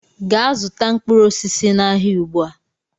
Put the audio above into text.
Gaa zụta mkpụrụ osisi n'ahịa ugbu a!